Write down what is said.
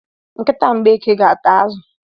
Nkịta Mgbeke ga ata azụ.